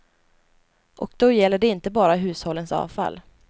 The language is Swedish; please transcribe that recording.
Och då gäller det inte bara hushållens avfall.